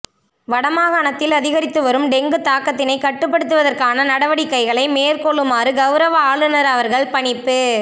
வடமாகாணத்தில்அதிகரித்துவரும் dengue தாக்கத்தினை கட்டுப்படுத்துவதற்கான நடவடிக்கைகளைமேற்கொள்ளுமாறு கௌரவ ஆளுநர் அவர்கள் பணிப்பு